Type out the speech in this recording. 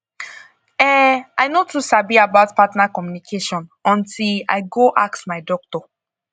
eh i no too sabi about partner communication until i go ask my doctor